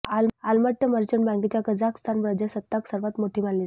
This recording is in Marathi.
आलमाट्य मर्चंट बँकेच्या कझाकस्तान प्रजासत्ताक सर्वात मोठी मानली जाते